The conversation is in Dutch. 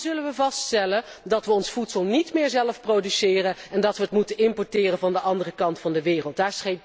Want dan zullen we moeten vaststellen dat we ons voedsel niet meer zelf produceren en dat we het moeten importeren van de andere kant van de wereld.